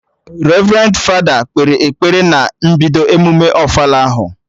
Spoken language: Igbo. Revrendi fada kpere ekpere na mbido emume ofala ahụ